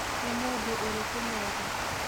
Nĩ mũndũ ũrĩkũ mwega?